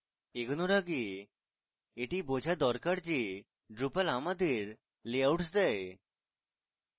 এগোনোর আগে এটি বোঝা দরকার যে drupal আমাদের layouts দেয়